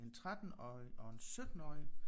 En 13-årig og en 17-årig